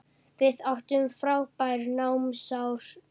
Við áttum frábær námsár saman.